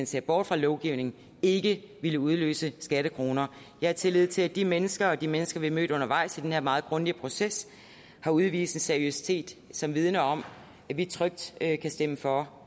ser bort fra lovgivningen ikke ville udløse skattekroner jeg har tillid til de mennesker og de mennesker vi har mødt undervejs i den her meget grundige proces har udvist en seriøsitet som vidner om at vi trygt kan stemme for